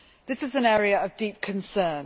This is an area of deep concern.